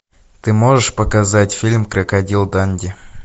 ты можешь показать фильм крокодил данди